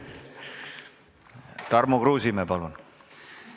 Tarmo Kruusimäe, palun!